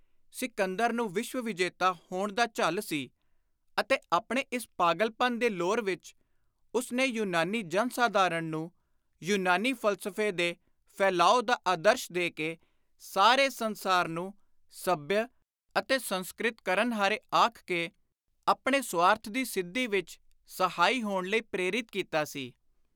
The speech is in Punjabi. ਸਿਕੰਦਰ ਨੂੰ ਵਿਸ਼ਵ-ਵਿਜੇਤਾ ਹੋਣ ਦਾ ਝੱਲ ਸੀ ਅਤੇ ਆਪਣੇ ਇਸ ਪਾਗਲਪਨ ਦੇ ਲੋਰ ਵਿਚ ਉਸ ਨੇ ਯੁਨਾਨੀ ਜਨ-ਸਾਧਾਰਣ ਨੂੰ ਯੂਨਾਨੀ ਫ਼ਲਸਫ਼ੇ ਦੇ ਫੈਲਾਓ ਦਾ ਆਦਰਸ਼ ਦੇ ਕੇ ਸਾਰੇ ਸੰਸਾਰ ਨੂੰ ਸੱਭਿਅ ਅਤੇ ਸੰਸਕ੍ਰਿਤ ਕਰਨਹਾਰੇ ਆਖ ਕੇ ਆਪਣੇ ਸੁਆਰਥ ਦੀ ਸਿੱਧੀ ਵਿਚ ਸਹਾਈ ਹੋਣ ਲਈ ਪ੍ਰੇਰਿਤ ਕੀਤਾ ਸੀ।